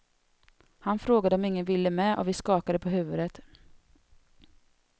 Han frågade om ingen ville med och vi skakade på huvudet.